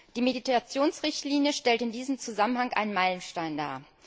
Die Mediationsrichtlinie stellt in diesem Zusammenhang einen Meilenstein dar.